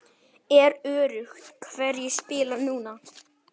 Er öruggt hverjir spila núna?